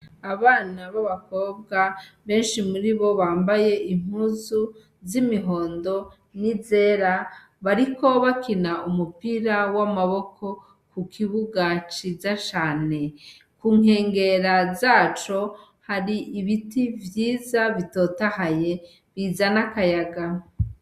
Abana baba kobwa benshi muri bo bambaye impuzu zi mihondo n'izera bariko bakina umupira w'amaboko mu kibuga ciza cane, ku nkengera zaco hari ibiti vyiza bitotahaye bizana akayaga.